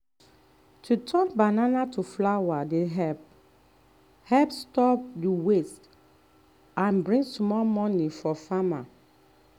to turn banana to flour dey help stop help stop waste and bring small money for farmer